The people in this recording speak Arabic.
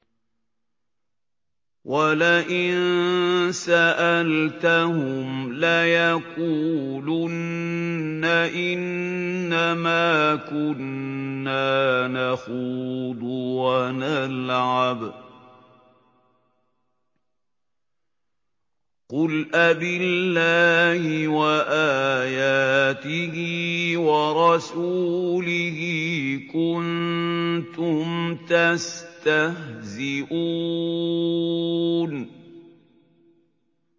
وَلَئِن سَأَلْتَهُمْ لَيَقُولُنَّ إِنَّمَا كُنَّا نَخُوضُ وَنَلْعَبُ ۚ قُلْ أَبِاللَّهِ وَآيَاتِهِ وَرَسُولِهِ كُنتُمْ تَسْتَهْزِئُونَ